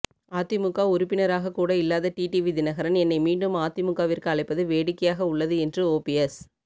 அதிமுக உறுப்பினராக கூட இல்லாத டிடிவி தினகரன் என்னை மீண்டும் அதிமுகவிற்கு அழைப்பது வேடிக்கையாக உள்ளது என்று ஓபிஎஸ்